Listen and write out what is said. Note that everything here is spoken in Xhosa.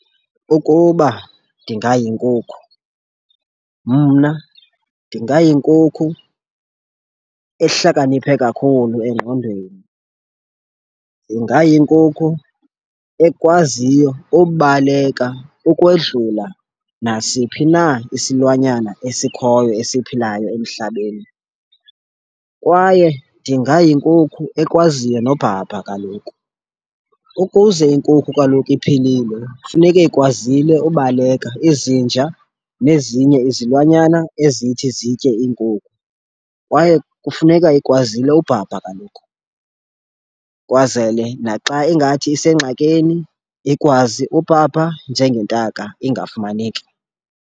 Ukuba ndingayinkukhu, mna ndingayinkukhu ehlakaniphe kakhulu engqondweni. Ndingayinkukhu ekwaziyo ubaleka ukwedlula nasiphi na isilwanyana esikhoyo esiphilayo emhlabeni kwaye ndingayinkukhu ekwaziyo nobhabha kaloku. Ukuze inkukhu kaloku iphilile funeke ikwazile ubaleka izinja nezinye izilwanyana ezithi zitye iinkukhu. Kwaye kufuneka ikwazile ubhabha kaloku kwazele naxa ingathi isengxakini ikwazi ubhabha njengentaka ingafumaneki.